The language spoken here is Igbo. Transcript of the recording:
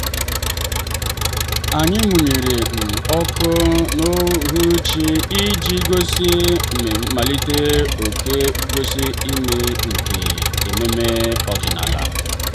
anyị mụnyere um ọkụ n'uhuruchi iji gosi mmalite nke gosi mmalite nke ememe ọdịnala.